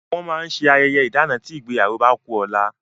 Wọn máa ń ṣe ayẹyẹ ìdana tí ìgbéyàwó bá ku ọ̀la